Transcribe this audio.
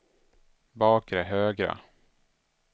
bakre högra